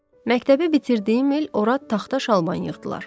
Məktəbi bitirdiyim il ora taxta şalban yığdılar.